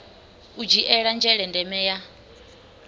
u dzhiela nzhele ndeme ya